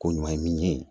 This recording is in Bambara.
Ko ɲuman ye min ye